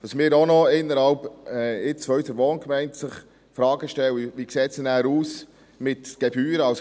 – Die Frage, die sich in unserer Wohngemeinde auch noch stellt, ist, wie es mit Gebühren aussieht.